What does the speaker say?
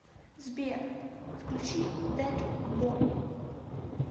сбер включи детбой